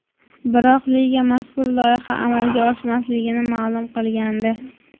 Biroq liga mazkur loyiha amalga oshmasligini ma’lum qilgandi .